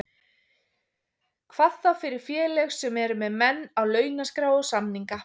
Hvað þá fyrir félög sem eru með menn á launaskrá og samninga.